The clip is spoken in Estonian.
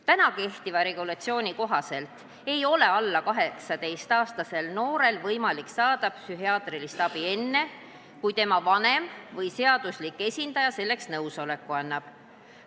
Täna kehtiva regulatsiooni kohaselt ei ole alla 18-aastasel noorel võimalik saada psühhiaatrilist abi enne, kui tema vanem või seaduslik esindaja selleks nõusoleku annab.